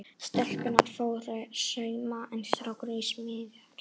Stelpurnar fóru í sauma en strákarnir í smíðar.